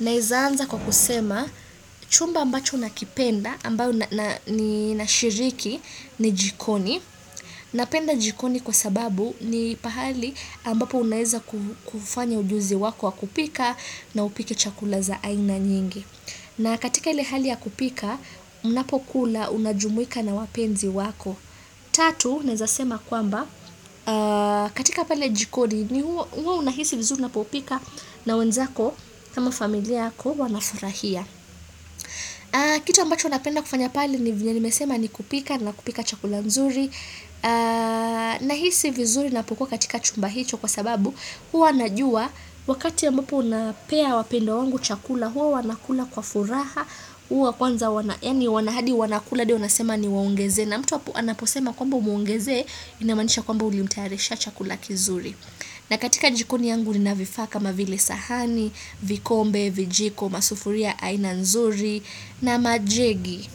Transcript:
Naweza anza kwa kusema chumba ambacho nakipenda ambayo ninashiriki ni jikoni. Napenda jikoni kwa sababu ni pahali ambapo unaweza kufanya ujuzi wako wa kupika na upike chakula za aina nyingi. Na katika ile hali ya kupika, unapokula unajumuika na wapenzi wako. Tatu naweza sema kwamba katika pale jikoni huo unahisi vizuri unapopika na wenzako kama familia yako wanafurahia kiti ambacho napenda kufanya pale ni vile nimesema ni kupika na kupika chakula nzuri Nahisi vizuri ninapokuwa katika chumba hicho kwa sababu huwa najua wakati ambapo unapea wapendwa wangu chakula huwa wanakula kwa furaha huwa kwanza wanakula hadi wanasema niwaongezee na mtu anaposema kwamba umwongezee inamanisha kwamba ulimtayarishia chakulaki zuri na katika jikoni yangu nina vifaa kama vile sahani vikombe, vijiko, masufuria, aina nzuri na majegi.